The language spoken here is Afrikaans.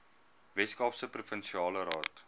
weskaapse provinsiale raad